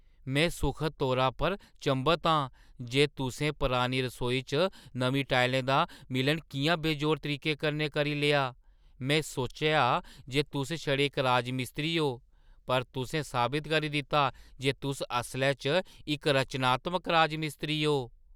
में सुखद तौरा पर चंभत आं जे तुसें परानी रसोई च नमीं टाइलें दा मिलान किʼयां बेजोड़ तरीके कन्नै करी लेआ। में सोचेआ जे तुस छड़े इक राजमिस्त्री ओ, पर तुसें साबत करी दित्ता जे तुस असलै च इक रचनात्मक राजमिस्त्री ओ।